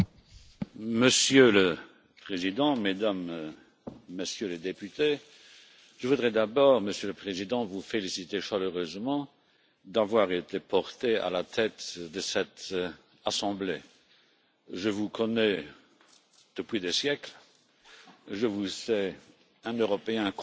Monsieur le Président, Mesdames et Messieurs les députés, je voudrais d'abord, Monsieur le Président, vous féliciter chaleureusement d'avoir été porté à la tête de cette assemblée. Je vous connais depuis des siècles, je vous sais un Européen convaincu